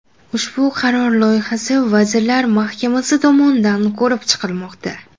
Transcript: Ushbu qaror loyihasi Vazirlar Mahkamasi tomonidan ko‘rib chiqilmoqda.